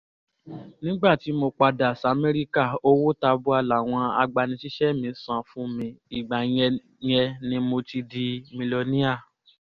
nígbà tí mo padà samẹ́ríkà owó tabua làwọn agbanisíṣẹ́ mi san fún mi ìgbà yẹn yẹn ni mo ti di milọníà